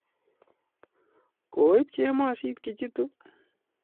Koib chemosit Kijitu?